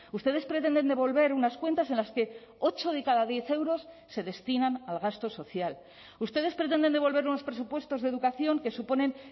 ustedes pretenden devolver unas cuentas en las que ocho de cada diez euros se destinan al gasto social ustedes pretenden devolver unos presupuestos de educación que suponen